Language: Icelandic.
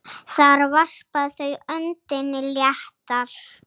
Þar varpa þau öndinni léttar.